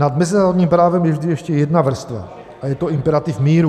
Nad mezinárodním právem je vždy ještě jedna vrstva a je to imperativ míru.